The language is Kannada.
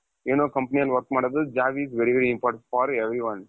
ಏನೋ company ಯಲ್ಲಿ work ಮಾಡೊದು job is very important for everyone .